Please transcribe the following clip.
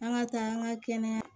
An ka taa an ka kɛnɛya